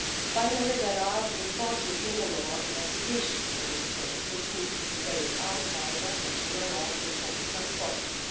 Finally, there are the important criminal law investigations in this case which need to be carried out by the national law enforcement bodies.